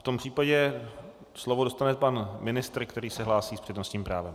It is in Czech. V tom případě slovo dostane pan ministr, který se hlásí s přednostním právem.